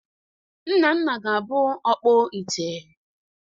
Nnanna ga-abụ ọkpọ ite